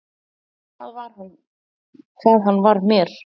Hvað hann var mér.